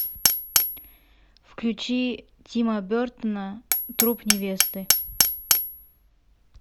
включи тима бертона труп невесты